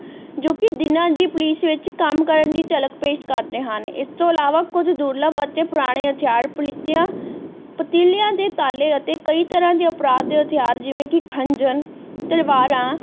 ਜੋ ਕਿ ਦਿਨਾਂ ਦੀ ਪੁਲਿਸ ਵਿਚ ਕੰਮ ਕਰਨ ਦੀ ਝੱਲਕ ਪੇਸ਼ ਕਰਦੇ ਹਨ ਇਸ ਤੋਂ ਇਲਾਵਾਂ ਕੁੱਝ ਦੁਰਲੱਭ ਅਤੇ ਪੁਰਾਣੇ ਹਥਿਆਰ ਪਲੀਟਿਆਂ ਪਤੀਲੀਆਂ ਦੇ ਤਾਲੇ ਅਤੇ ਕਈ ਤ੍ਰਾਹ ਦੇ ਅਪਰਾਧ ਦੇ ਹਥਿਆਰ ਜਿਵੇਂ ਕਿ ਖ਼ੰਜਰ ਤਲਵਾਰਾਂ